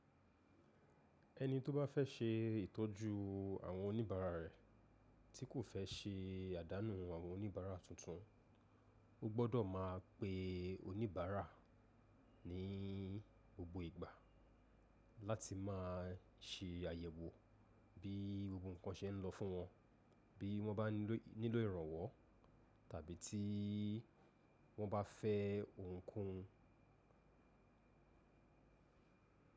Ẹni tó bá fẹ́ ṣe ìtọ́jú àwọn oníbàárà rẹ̀ tí kò fẹ́ ṣe àdánù àwọn oníbàárà tuntun, ó gbọ́dọ̀ máa pe oníbàárà ní gbogbo ìgbà láti má a ṣe àyẹ̀wò bí gbogbo nkan ṣe ń lọ fún wọn, bí wọ́n bá nílò ìrànwọ́ tàbí tí wọ́n bá fẹ́ ohun kóhun.